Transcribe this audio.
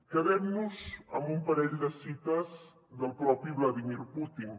quedem nos amb un parell de cites del propi vladímir putin